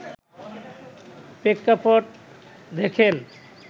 প্রেক্ষাপট দেখেন